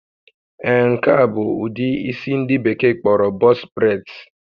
Ee, nke a bụ ụdị isi ndị Bekee kpọrọ box braids